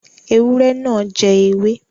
Ewúrẹ́ náà jẹ ewé.